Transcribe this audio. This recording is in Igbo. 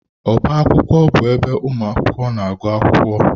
Ọbá akwụkwọ bụ ebe ụmụ akwụkwọ na-agụ akwụkwọ.